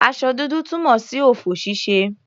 Aṣọ dúdú túmọ̀ sí ọ̀fọ̀ ṣíṣe.